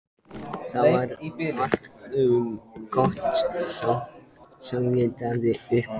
Það var allt og sumt, sagði Daði upphátt.